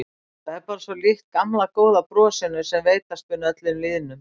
Það er bara svo líkt gamla góða brosinu sem veitast mun öllum lýðnum.